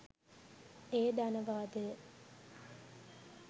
එය ධනවාදය